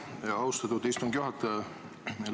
Aitäh, austatud istungi juhataja!